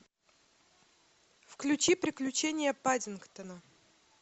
включи приключения паддингтона